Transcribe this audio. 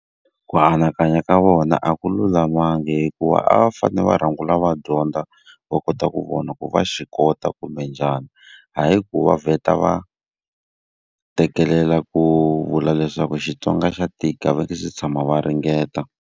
Ku anakanya ka vona a ku lulamanga hikuva a va fanele va rhangela va dyondza va kota ku vona ku va swi kota kumbe njhani. Hayi ku va vheta va teketana ku vula leswaku Xitsonga xa tika va nge se tshama va ringeta.